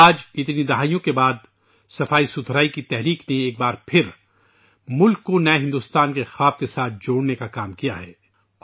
آج ، کئی دہائیوں کے بعد ، صفائی کی تحریک نے ایک بار پھر ملک کو ایک نئے ہندوستان کے خواب سے جوڑنے کا کام کیا ہے